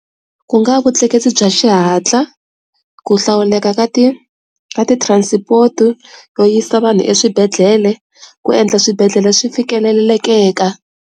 Ku nga vutleketli bya xihatla ku hlawuleka ka ti ti-transport to yisa vanhu eswibedhlele, ku endla swibedhlele swi fikelelekeka.